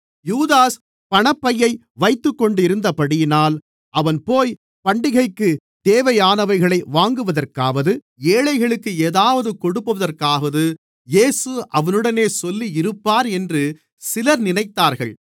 யூதாஸ் பணப்பையை வைத்துக் கொண்டிருந்தபடியினால் அவன்போய் பண்டிகைக்குத் தேவையானவைகளைக் வாங்குவதற்காவது ஏழைகளுக்கு ஏதாவது கொடுப்பதற்காவது இயேசு அவனுடனே சொல்லியிருப்பார் என்று சிலர் நினைத்தார்கள்